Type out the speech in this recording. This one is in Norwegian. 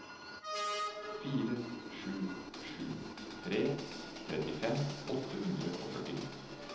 fire sju sju tre trettifem åtte hundre og førtito